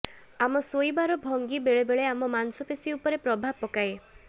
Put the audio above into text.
ଆମ ଶୋଇବାର ଭଙ୍ଗି ବେଳେବେଳେ ଆମ ମାଂସପେଶୀ ଉପରେ ପ୍ରଭାବ ପକାଏ